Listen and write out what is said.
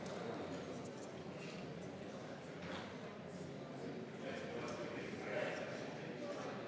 Ma luban teile, et me tõesti seda teeme.